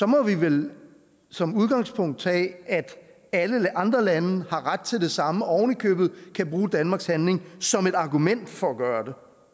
må vi vel som udgangspunkt tage at alle andre lande har ret til det samme og ovenikøbet kan bruge danmarks handling som et argument for at gøre